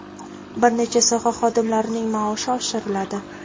bir necha soha xodimlarining maoshi oshiriladi.